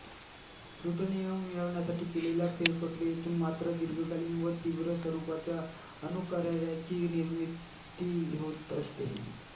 plutonium मिळवण्यासाठी केलेल्या फेरप्रक्रियेतून मात्र दीर्घकालीन व तीव्र स्वरूपाच्या अणुकचऱ्याची निर्मिती होत असते